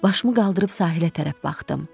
Başımı qaldırıb sahilə tərəf baxdım.